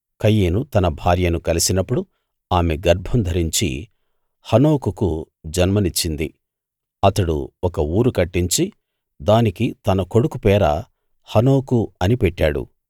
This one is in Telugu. కయీను తన భార్యను కలిసినప్పుడు ఆమె గర్భం ధరించి హనోకుకు జన్మనిచ్చింది అతడు ఒక ఊరు కట్టించి దానికి తన కొడుకు పేర హనోకు అని పెట్టాడు